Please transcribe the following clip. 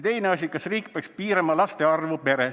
Veel: "Kas riik peaks piirama laste arvu peres?